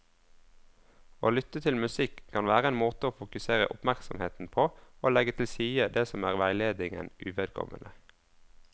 Å lytte til musikk kan være en måte å fokusere oppmerksomheten på og legge til side det som er veiledningen uvedkommende.